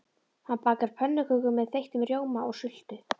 Hanna bakar pönnukökur með þeyttum rjóma og sultu.